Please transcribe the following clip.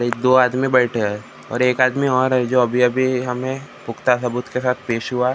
एक दो आदमें बैठ हैं और एक आदमें और जो अभी-अभी हमें पुक्ता सबुत के खाल पेश हुआ है ।